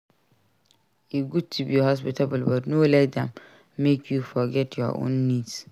E good to be hospitable but no let am make you forget your own needs.